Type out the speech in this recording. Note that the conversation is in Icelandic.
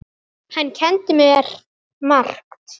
Hann kenndi mér margt.